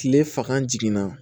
Kile fanga jiginna